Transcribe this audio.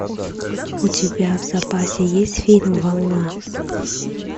у тебя в запасе есть фильм волна